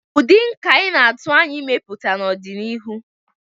ụdị nka ị na-atụ anya ịmepụta n'ọdịnihu?